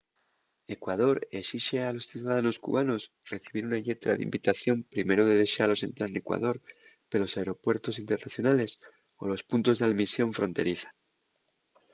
ecuador esixe a los ciudadanos cubanos recibir una lletra d'invitación primero de dexalos entrar n’ecuador pelos aeropuertos internacionales o los puntos d’almisión fronteriza